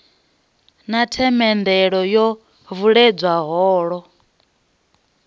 na themendelo yo vuledzwa holo